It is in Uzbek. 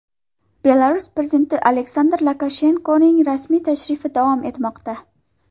Belarus prezidenti Aleksandr Lukashenkoning rasmiy tashrifi davom etmoqda.